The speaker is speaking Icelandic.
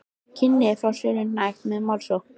kynni að fá sölunni hnekkt með málsókn.